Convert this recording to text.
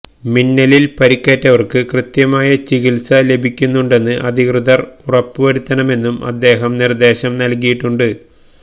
മിന്നലില് പരിക്കേറ്റവര്ക്ക് കൃത്യമായ ചികിത്സ ലഭിക്കുന്നുണ്ടെന്ന് അധികൃതര് ഉറപ്പുവരുത്തണമെന്നും അദ്ദേഹം നിര്ദേശം നല്കിയിട്ടുണ്ട്